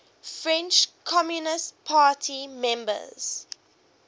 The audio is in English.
french communist party members